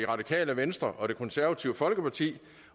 radikale venstre og det konservative folkeparti